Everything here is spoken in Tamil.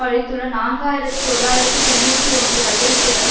அளித்துள்ள நான்கு ஆயிரத்தி தொள்ளாயிரத்து தொன்னூற்றி ஒன்று கையெழுத்துக்களில்